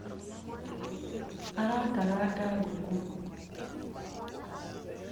arakaranga ngũkũ